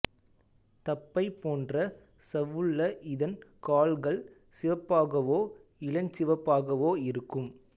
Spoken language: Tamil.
தப்பை போன்ற சவ்வுள்ள இதன் கால்கள் சிவப்பாகவோ இளஞ்சிவப்பாகவோ இருக்கும்